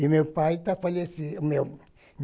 E meu pai está falecido. O meu